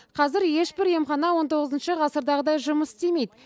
қазір ешбір емхана он тоғызыншы ғасырдағыдай жұмыс істемейді